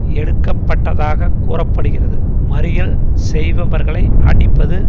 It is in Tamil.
எடுக்கப்பட்டதாக கூற படுகிறது மறியல் செய்பவர்களை அடிப்பது